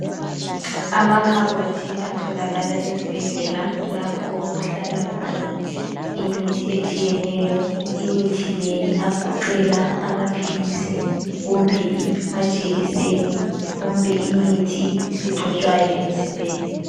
Amakhabothi atholakala ezibhedlela lapho okuhlala khona imithi etshiyeneyo, imithi le iyagoqela amaphilisi kumbe amajekiseni kumbe imithi egcotshwayo emzimbeni.